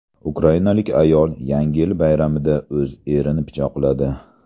Ukrainalik ayol Yangi yil bayramida o‘z erini pichoqladi.